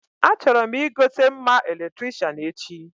Achọrọ m igote mma Eletricịanechi